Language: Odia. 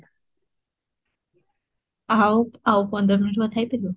ଆଉ, ଆଉ ପନ୍ଦର minute କଥା ହେଇ ପାରିବ?